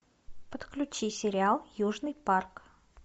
подключи сериал южный парк